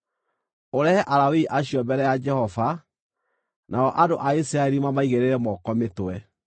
Ũrehe Alawii acio mbere ya Jehova, nao andũ a Isiraeli mamaigĩrĩre moko mĩtwe.